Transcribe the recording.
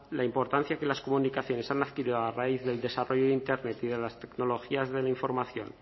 la importancia que las comunicaciones han adquirido a raíz del desarrollo de internet y de las tecnologías de la información